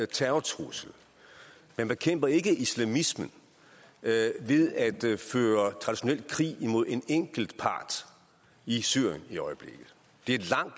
terrortrussel og man bekæmper ikke islamismen ved ved at føre traditionel krig mod en enkelt part i syrien i øjeblikket det er et